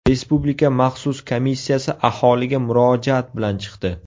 Respublika maxsus komissiyasi aholiga murojaat bilan chiqdi.